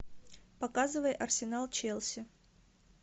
показывай арсенал челси